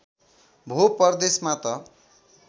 भो परदेशमा त